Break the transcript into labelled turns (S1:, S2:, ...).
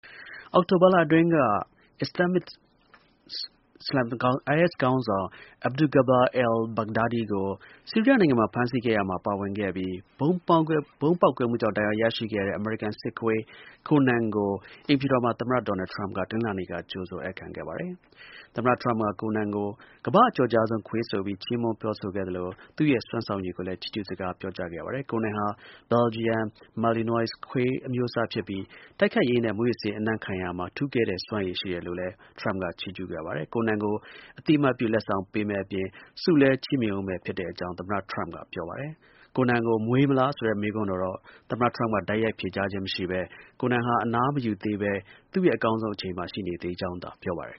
S1: အောက်တိုဘာလအတွင်းက IS ခေါင်းဆောင် Abu Bakr al-Baghdadi ကို ဆီးရီးယားနိုင်ငံမှာ ဖမ်းဆီးခဲ့ရာမှာ ပါဝင်ခဲ့ပြီး ဗုံးပေါက်ကွဲမှုကြောင့် ဒဏ်ရာ ရရှိခဲ့တဲ့ အမေရိကန် စစ်ခွေး Conan ကို အိမ်ဖြူတော်မှာ သမ္မတ ဒေါ်နယ်ထရမ့်က တနင်္လလာနေ့က ကြိုဆို ဧည့်ခံခဲ့ပါတယ်။ သမ္မတ ထရမ့်က Conan ကို ကမ္ဘ့ာ့ အကျော်ကြားဆုံး ခွေးဆိုပြီး ချီးမွန်း ခေါ်ဆိုခဲ့ပြီး သူဲ့ရဲ့ စွမ်းဆောင်ရည်ကိုလည်း ချီးကျူး စကား ပြောကြားခဲ့ပါတယ်။ Conan ဟာ ဘယ်လ်ဂျီယံ Malinois ခွေး အမျိုးအစားဖြစ်ပြီး တိုက်ခိုက်ရေးနဲ့ မူးယစ်ဆေး အနံ့ခံရာမှာ ထူးကဲတဲ့ စွမ်းရည်ရှိတယ်လို့လည်း ထရမ့်က ချီးကျူးခဲ့ပါတယ်။ Conan ကို အသိအမှတ်ပြု လက်မှတ်ပေးမယ့်အပြင် ဆုလည်း ချီးမြှင့်ဦးမယ့်အကြောင်း သမ္မတ ထရမ့်က ပြောပါတယ်။။ Conan ကို မွေးမလားဆိုတဲ့ မေးခွန်းကိုတော့ သမ္မတ ထရမ့်က တိုက်ရိုက် ဖြေကြားခြင်းမရှိဘဲ Conan ဟာ အနားမယူသေးဘဲ သူ့ရဲ့ အကောင်းဆုံး အချိန်မှာ ရှိကြောင်းသာ ပြောပါတယ်